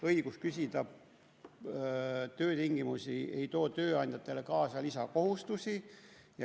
Õigus küsida töötingimusi ei too tööandjatele kaasa lisakohustusi.